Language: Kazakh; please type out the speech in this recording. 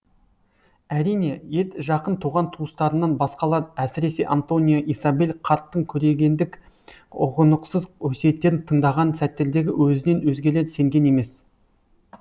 әрине етжақын туған туыстарынан басқалар әсіресе антонио исабель қарттың көрегендік ұғынықсыз өсиеттерін тыңдаған сәттердегі өзінен өзгелер сенген емес